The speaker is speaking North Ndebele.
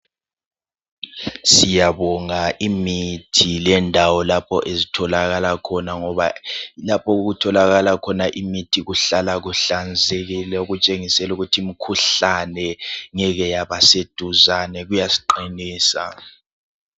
Siyabonga imithi lendawo lapho ezitholakala khona .Ngoba lapho okutholakala khona imithi kuhlala kuhlanzekile. Okutshengisela ukuthi imkhuhlane ngeke yaba seduzane ,kuyasiqinisa .